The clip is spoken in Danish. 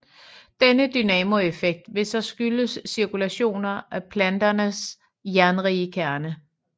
Denne dynamoeffekt ville så skyldes cirkulationer af planetens jernrige kerne